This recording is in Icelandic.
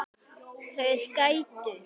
Þeir gætu.